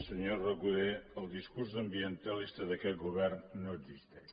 senyor recoder el discurs ambientalista d’aquest govern no existeix